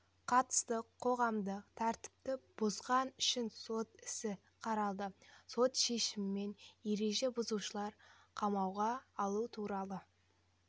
қатысты қоғамдық тәртіпті бұзғаны үшін сот ісі қаралды сот шешімімен ереже бұзушылар қамауға алу туралы